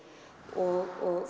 og